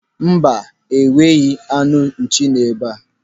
Mba, enweghị anụ nchi nọ ebe a.